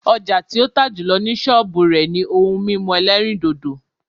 Ọjà tí ó tà jùlọ ni sọ́ọ̀bù rẹ̀ ni ohun mímu ẹlẹ́rìndòdò